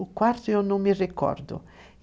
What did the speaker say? O quarto eu não me recordo.